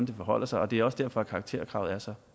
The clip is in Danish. det forholder sig og det er også derfor at karakterkravet er så